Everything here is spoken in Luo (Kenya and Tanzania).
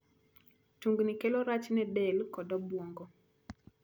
Tungnigo kelo rach ne del kod obuongo.